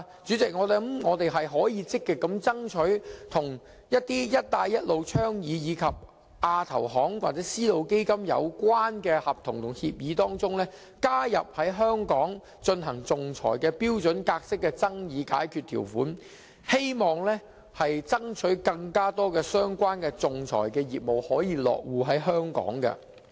主席，我們可以積極爭取在一些與"一帶一路"倡議，以及亞洲基礎設施投資銀行或絲路基金有關的合同和協議中，加入在香港進行仲裁的標準格式爭議解決條款，希望爭取更多相關的仲裁業務落戶香港。